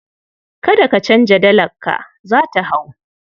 Kada ka canza dalarka, za ta hau.